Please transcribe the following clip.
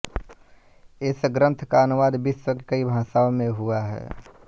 इस ग्रन्थ का अनुवाद विश्व की कई भाषाओ में हुआ है